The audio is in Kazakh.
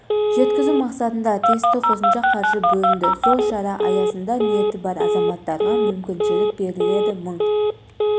жеткізу мақсатында тиісті қосымша қаржы бөлінді сол шара аясында ниеті бар азаматтарға мүмкіншілік беріледі мың